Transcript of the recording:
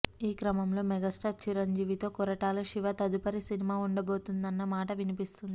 ఈ క్రమంలో మెగాస్టార్ చిరంజీవి తో కొరటాల శివ తదుపరి సినిమా ఉండబోతోంది అన్న మాట వినిపిస్తోంది